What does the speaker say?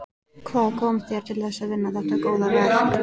Hvað kom þér til þess að vinna þetta góða verk?